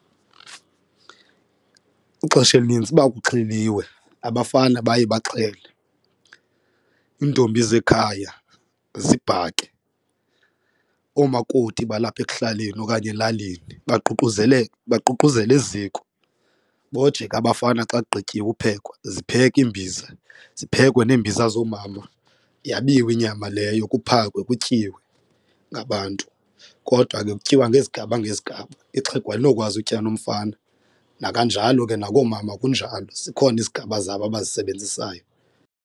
Ixesha elinintsi uba kuxheliwe abafana baye baxhele, iintombi zekhaya zibhake, oomakoti balapha ekuhlaleni okanye elalini baququzelele baququzele eziko, boje abafana xa kugqityiwe uphekwa zipheke iimbiza ziphekwe neembiza zoomama yabiwe inyama leyo kuphakwe kutyiwe ngabantu. Kodwa ke kutyiwa ngezigaba ngezigaba, ixhego alinokwazi utya nomfana nakanjalo ke nakoomama kunjalo zikhona izigaba zabo abazisebenzisayo.